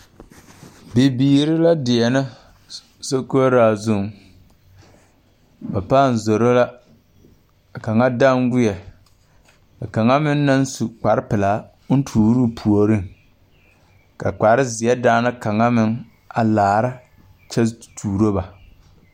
Bibiire la deɛnɛ sokoɔraa zuŋ ba pãã zoro la ka kaŋa danweɛ ka kaŋa meŋ naŋ su kparepilaa oŋ tuuroo puoriŋ ka kpare zeɛ daŋna kaŋa meŋ a laara kyɛ tuuro ba.